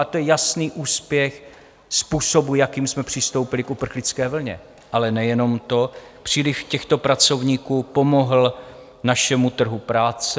A to je jasný úspěch způsobu, jakým jsme přistoupili k uprchlické vlně, ale nejenom to, příliv těchto pracovníků pomohl našemu trhu práce.